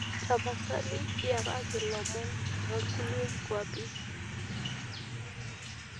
tapasali yakaki lomon loonkulie kwapi